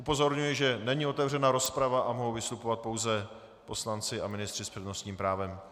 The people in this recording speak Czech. Upozorňuji, že není otevřena rozprava a mohou vystupovat pouze poslanci a ministři s přednostním právem.